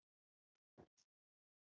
Emmý, syngdu fyrir mig „Ég er kominn heim“.